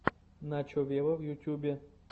начо вево в ютьюбе